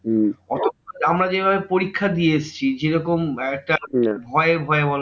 আমরা যেভাবে পরীক্ষা দিয়ে এসেছি যেরকম একেকটা ভয় ভয় বল